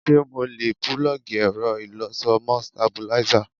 Ṣé mo lè púlọ́ọ̀gì ẹ̀rọ ìlọṣọ mọ́ stabilízà?